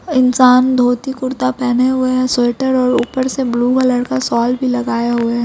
इंसान धोती कुरता पहने हुए हैं स्वेटर और ऊपर से ब्लू कलर का शोल भी लगाये हुए हैं।